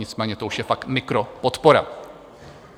Nicméně to už je fakt mikropodpora.